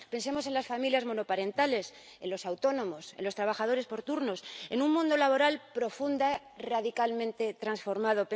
Pensemos en las familias monoparentales, en los autónomos, en los trabajadores por turnos en un mundo laboral profunda y radicalmente transformado.